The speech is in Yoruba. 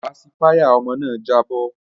Pasifáyà ọmọ náà jábọ́